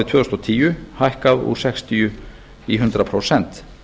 tvö þúsund og tíu hækkað úr sextíu prósent í hundrað prósent